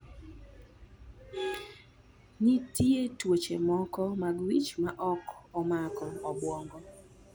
Nitie tuoche moko mag wich ma ok omako obwongo.